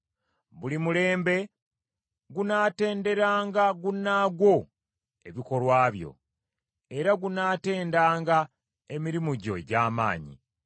Buli mulembe gunaatenderanga gunnaagwo ebikolwa byo, era gunaatendanga emirimu gyo egy’amaanyi.